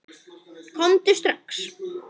Komdu strax!